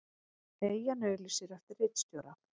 Eyjan auglýsir eftir ritstjóra